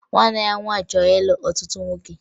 Nwanne ya nwaanyị chọrọ ịlụ ọtụtụ nwoke